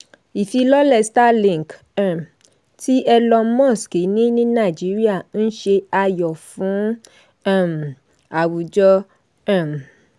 ifilọlẹ starlink um ti elon musk ní nàìjíríà ń ṣe ayọ̀ fún um àwùjọ. um